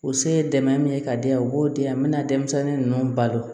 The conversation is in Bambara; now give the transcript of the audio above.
O se ye dɛmɛ min ye ka di yan u b'o di yan n me na denmisɛnnin ninnu balo